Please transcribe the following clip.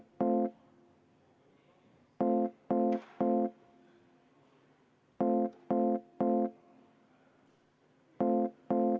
V a h e a e g